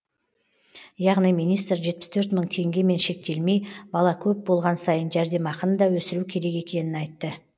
яғни министр жетпіс төрт мың теңгемен шектелмей бала көп болған сайын жәрдемақыны да өсіру керек екенін айтты